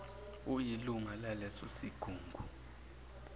uyilunga laleso sigungu